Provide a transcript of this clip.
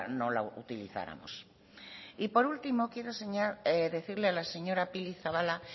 no la utilizáramos y por último quiero decirle a la señora pili zabala